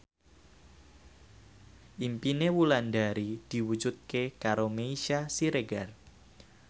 impine Wulandari diwujudke karo Meisya Siregar